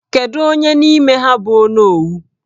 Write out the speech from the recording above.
Kedu onye n'ime ha bụ onowu?